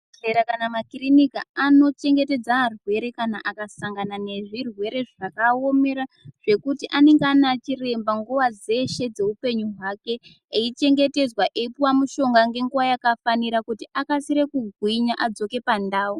Muzvibhehlera kana makirinika anochengetedza arwere kana akasangana nezvirwere zvakaaomera zvekuti anenge anachiremba nguwa dzeshe dzeupenyu hwake eichengetedzwa eipuwa mushonga ngenguwa yakafanira kuti akasire kugwinya adzoke pandau.